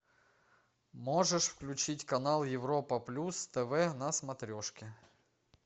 можешь включить канал европа плюс тв на смотрешке